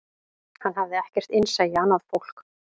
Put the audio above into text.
Hann hafði ekkert innsæi í annað fólk